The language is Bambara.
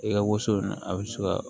I ka woso a bɛ se ka